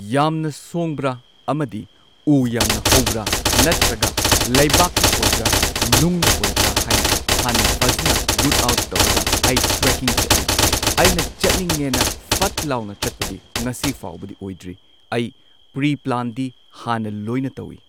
ꯌꯥꯝꯅ ꯁꯣꯡꯕ꯭ꯔ ꯑꯃꯗꯤ ꯎ ꯌꯥꯝꯅ ꯍꯧꯕ꯭ꯔ ꯅꯠꯇ꯭ꯔꯒ ꯂꯩꯕꯥꯛꯅ ꯑꯣꯏꯕ꯭ꯔ ꯅꯨꯡꯅ ꯑꯣꯏꯕ꯭ꯔꯥ ꯍꯥꯏꯅ ꯍꯥꯟꯅ ꯐꯖꯅ ꯔꯨꯠ ꯑꯥꯎꯠ ꯇꯧꯔꯒ ꯑꯩ ꯇ꯭ꯔꯦꯀꯤꯡ ꯆꯠꯂꯤ꯫ ꯑꯩꯅ ꯆꯠꯅꯤꯡꯉꯦꯅ ꯐꯠ ꯂꯥꯎꯅ ꯆꯠꯄꯗꯤ ꯉꯁꯤ ꯐꯥꯎꯕꯗꯤ ꯑꯣꯏꯗ꯭ꯔꯤ ꯑꯩ ꯄ꯭ꯔꯤꯄ꯭ꯂꯥꯟꯗꯤ ꯍꯥꯟꯅ ꯂꯣꯏꯅ ꯇꯧꯋꯤ꯫